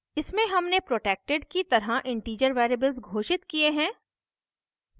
इसमें हमने protected की तरह integer variables घोषित किये हैं